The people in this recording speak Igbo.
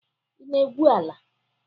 Ị na-egwu ala.